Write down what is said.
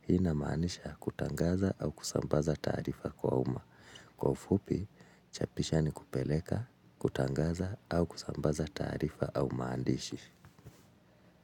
Hii inamaanisha kutangaza au kusambaza tarifa kwa uma. Kwa ufupi, chapisha ni kupeleka, kutangaza au kusambaza tarifa au maandishi.